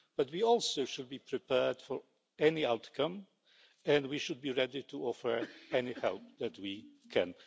But we should also be prepared for any outcome and we should be ready to offer any help that we can.